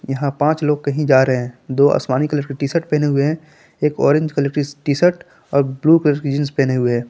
यहां पांच लोग कहीं जा रहे हैं दो आसमानी कलर का टीशर्ट पहने हुए हैं एक ऑरेंज कलर कि टीशर्ट और ब्लू कलर कि जींस पहने हुए हैं।